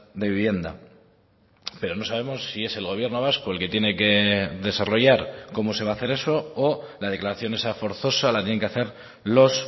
de vivienda pero no sabemos si es el gobierno vasco el que tiene que desarrollar cómo se va a hacer eso o la declaración esa forzosa la tienen que hacer los